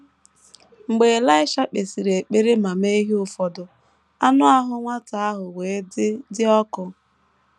Mgbe Elaịsha kpesịrị ekpere ma mee ihe ụfọdụ, “ anụ ahụ nwata ahụ wee dị dị ọkụ. ”